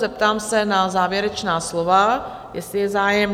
Zeptám se na závěrečná slova, jestli je zájem?